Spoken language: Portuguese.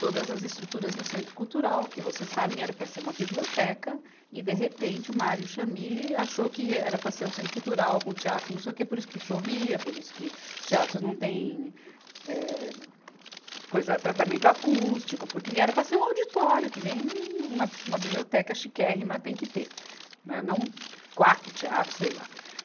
todas as estruturas no Centro Cultural, que, vocês sabem, era para ser uma biblioteca, e, de repente, o Mário Chamie achou que era para ser um Centro Cultural com teatros, não sei o quê, por isso que chovia, por isso que os teatros não têm, eh, coisa tratamento acústico, porque era para ser um auditório, que nem uma, uma biblioteca chiquérrima tem que ter, né, não quatro teatros, sei lá.